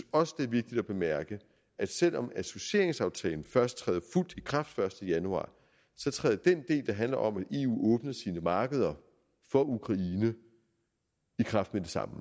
også det er vigtigt at bemærke at selv om associeringsaftalen først træder fuldt i kraft den første januar så træder den del der handler om at eu åbner sine markeder for ukraine i kraft med det samme